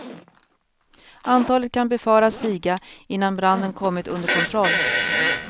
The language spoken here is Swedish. Antalet kan befaras stiga innan branden kommit under kontroll.